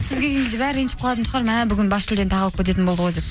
сіз келген кезде бәрі ренжіп қалатын шығар мә бүгін бас жүлдені тағы алып кететін болды ғой деп